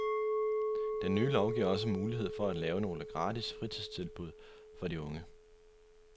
Den nye lov giver også mulighed for at lave nogle gratis fritidstilbud for de unge.